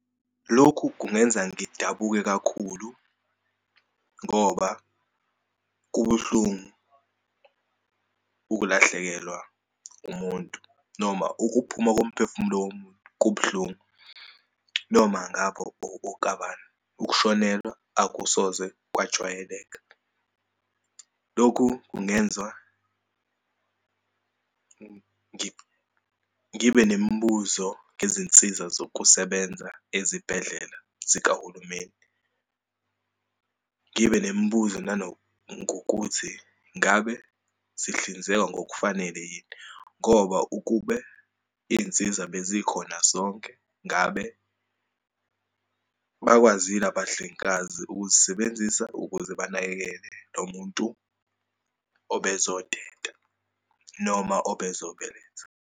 Lokhu kungenza ngidabuke kakhulu ngoba kubuhlungu ukulahlekelwa umuntu, noma ukuphuma komphefumulo womuntu kubuhlungu, noma ngabo okukabani, ukushonelwa akusoze kwajwayeleka. Lokhu kungenza ngibe nemibuzo ngezinsiza zokusebenza ezibhedlela zikahulumeni, ngibe nemibuzo nanongokuthi ngabe sihlinzeka ngokufanele yini. Ngoba ukube iyinsiza bezikhona zonke, ngabe bakwazile abahlengikazi ukuzisebenzisa ukuze banakekele lo muntu obezoteta noma obezobeletha.